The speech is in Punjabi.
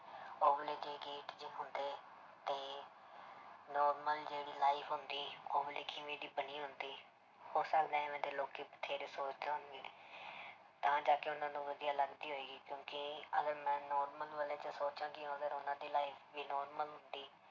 Normal ਜਿਹੜੀ life ਹੁੰਦੀ ਉਹ ਦੀ ਬਣੀ ਹੁੰਦੀ, ਹੋ ਸਕਦੇ ਹੈ ਇਵੇਂ ਦੇ ਲੋਕੀ ਬਥੇਰੇ ਸੋਚਦੇ ਹੋਣ ਤਾਂ ਜਾ ਕੇ ਉਹਨਾਂ ਨੂੰ ਵਧੀਆ ਲੱਗਦੀ ਹੋਏਗੀ ਕਿਉਂਕਿ ਅਗਰ ਮੈਂ normal ਵਾਲੇ 'ਚ ਸੋਚਾਂ ਕਿ ਅਗਰ ਉਹਨਾਂ ਦੀ life ਵੀ normal ਹੁੰਦੀ